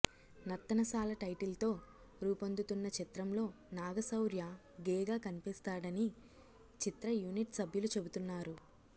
నర్తనశాల టైటిల్తో రూపొందుతున్న చిత్రంలో నాగశౌర్య గే గా కనిపిస్తాడని చిత్ర యూనిట్ సభ్యులు చెబుతున్నారు